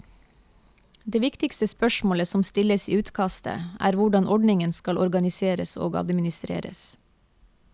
Det viktigste spørsmålet som stilles i utkastet er hvordan ordningen skal organiseres og administreres.